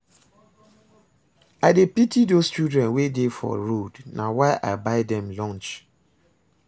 I dey pity those children wey dey for road na why I buy dem lunch